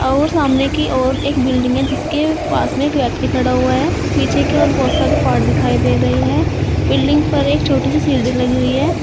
और सामने की ओर एक बिल्डिंग है जिसके पास में एक व्यक्ति खड़ा हुआ है पीछे के ओर बहुत सारे पार्ट दिखाई दे रहे हैं बिल्डिंग पर एक छोटी सी सीढ़ी लगी हुई है।